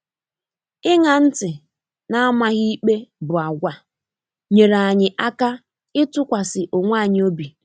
Iṅa ntị na amaghị ikpe bụ àgwà nyere anyị aka ịtụkwasị onwe anyị obi